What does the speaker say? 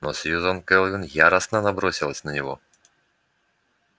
но сьюзен кэлвин яростно набросилась на него